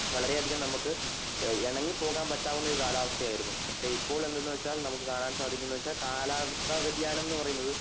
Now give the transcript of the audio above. വളരെ അതികം നമ്മക്ക് എ എണങ്ങി പോവാൻ പറ്റാവുന്ന ഒരു കാലാവസ്ഥ ആയിരുന്നു പക്ഷേ ഇപ്പോഴ് എന്നുവച്ചാൽ നമക്ക് കാണാൻ സാധിക്കുന്നു എന്ഹാ വച്ചാകാലാവസ്ഥ വിദ്യാനം